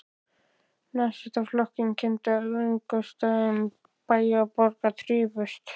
Nasistaflokksins kenndu, að í öngstrætum bæja og borga þrifust